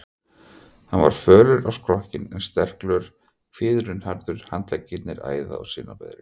Hann var fölur á skrokkinn en sterklegur, kviðurinn harður, handleggir æða- og sinaberir.